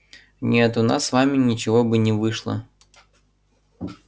нет у нас с вами ничего бы не вышло